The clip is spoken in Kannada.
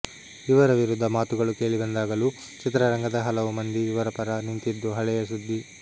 ಇವರ ವಿರುದ್ಧ ಮಾತುಗಳು ಕೇಳಿಬಂದಾಗಲೂ ಚಿತ್ರರಂಗದ ಹಲವು ಮಂದಿ ಇವರ ಪರ ನಿಂತಿದ್ದು ಹಳೆಯ ಸುದ್ದಿ